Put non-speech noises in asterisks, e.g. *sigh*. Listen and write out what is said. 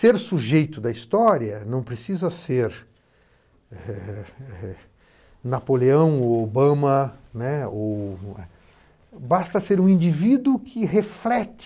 Ser sujeito da história não precisa ser *unintelligible* eh Napoleão ou Obama, né, ou... basta ser um indivíduo que reflete